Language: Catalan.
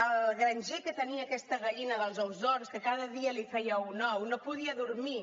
el granger que tenia aquesta gallina dels ous d’or que cada dia li feia un ou no podia dormir